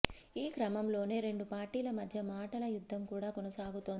ఈ క్రమంలోనే రెండు పార్టీల మధ్య మాటల యుద్ధం కూడా కొనసాగుతోంది